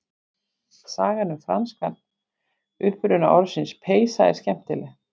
Sagan um franskan uppruna orðsins peysa er skemmtileg.